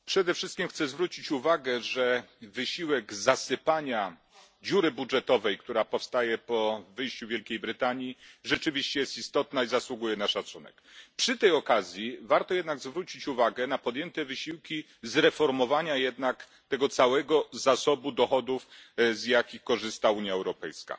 Panie Przewodniczący! Przede wszystkim chcę zwrócić uwagę, że wysiłek zasypania dziury budżetowej, która powstaje po wyjściu Wielkiej Brytanii, rzeczywiście jest istotny i zasługuje na szacunek. Przy tej okazji warto jednak zwrócić uwagę na wysiłki podjęte w celu zreformowania tego całego zasobu dochodów, z jakich korzysta Unia Europejska.